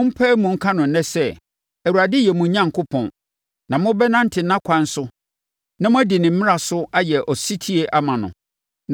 Moapae mu aka no ɛnnɛ sɛ, Awurade yɛ, mo Onyankopɔn, na mobɛnante nʼakwan so na mobɛdi ne mmara so ayɛ ɔsetie ama no.